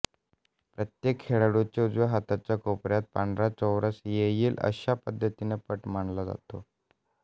प्रत्येक खेळाडूच्या उजव्या हाताच्या कोपऱ्यात पांढरा चौरस येईल अशा पद्धतीने पट मांडला जातो